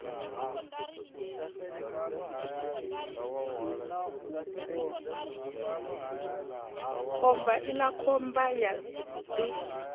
khomba iḽa khomba ya ḓi